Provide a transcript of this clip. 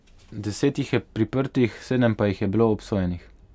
Deset jih je priprtih, sedem pa jih je bilo obsojenih.